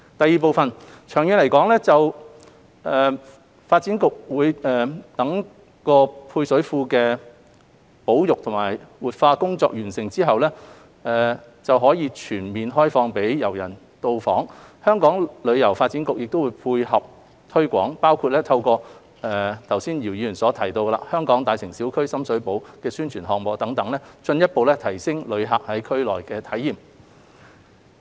二長遠來說，待發展局就配水庫的保育和活化工作完成後並可全面開放予遊人到訪時，香港旅遊發展局會配合推廣，包括透過剛才姚議員提到的"香港.大城小區―深水埗"的宣傳項目等，進一步提升旅客在區內的體驗。